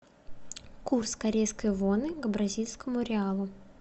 курс корейской воны к бразильскому реалу